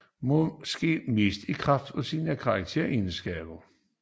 Måske mest i kraft af sine karakteregenskaber